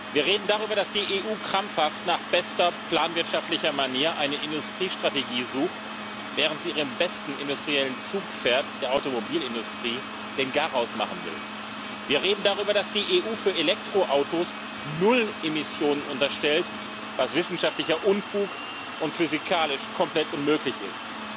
Wir reden darüber, dass die EU krampfhaft, nach bester planwirtschaftlicher Manier, eine Industriestrategie sucht, während sie ihrem besten industriellen Zugpferd der Automobilindustrie den Garaus machen will. Wir reden darüber, dass die EU für Elektroautos null Emissionen unterstellt, was wissenschaftlicher Unfug und physikalisch komplett unmöglich ist.